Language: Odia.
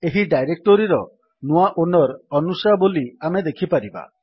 ଏହି ଡାଇରେକ୍ଟୋରୀର ନୂଆ ଓନର୍ ଅନୁଶା ବୋଲି ଆମେ ଦେଖିପାରିବା